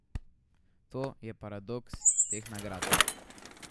To je paradoks teh nagrad.